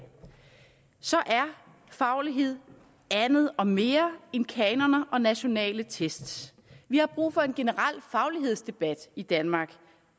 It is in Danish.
at faglighed er andet og mere end kanoner og nationale test vi har brug for en generel faglighedsdebat i danmark